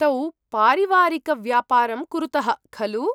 तौ पारिवारिकव्यापारं कुरुतः, खलु?